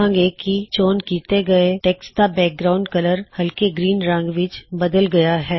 ਵੇਖਾਂਗੇ ਕੀ ਚੋਣ ਕੀਤੇ ਗਏ ਟੈੱਕਸਟ ਦਾ ਬੈਕਗਰਾਉਨਡ ਕਲਰ ਹਲਕੇ ਗ੍ਰੀਨ ਰੰਗ ਵਿੱਚ ਬਦਲ ਗਇਆ ਹੈ